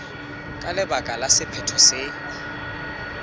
ka baka la sephetho se